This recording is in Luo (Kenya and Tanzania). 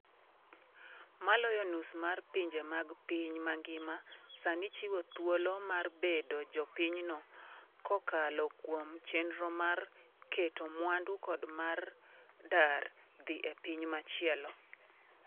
Maloyo nus mar pinje mag piny mangima sani chiwo thuolo mar bedo jopinyno kokalo kuom chenro mag keto mwandu kod mar dar dhi e piny machielo.